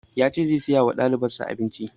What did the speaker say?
Ya ce zai saya wa ɗaliban sa abinci